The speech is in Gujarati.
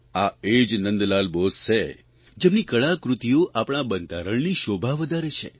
આ એ જ નંદલાલ બોઝ છે જેમની કળાકૃતિઓ આપણા બંધારણની શોભા વધારે છે